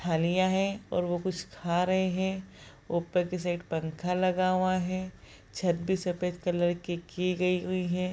थालियाँ हैं और वो कुछ खा रहे हैं ऊपर की साइड पंखा लगा हुआ है छत भी सफ़ेद कलर की गई हुई हैं।